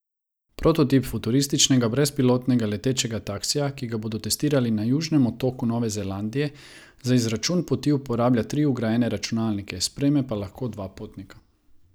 Prototip futurističnega brezpilotnega letečega taksija, ki ga bodo testirali na Južnem otoku Nove Zelandije, za izračun poti uporablja tri vgrajene računalnike, sprejme pa lahko dva potnika.